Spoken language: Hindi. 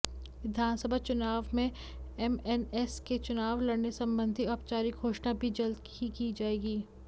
विधानसभा चुनाव में एमएनएस के चुनाव लड़ने संबंधी औपचारिक घोषणा भी जल्द ही की जाएगी